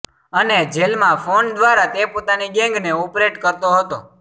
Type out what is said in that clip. અને જેલમાં ફોન દ્વારા તે પોતાની ગેંગને ઓપરેટ કરતો હતો